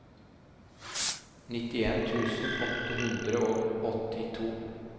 nittien tusen åtte hundre og åttito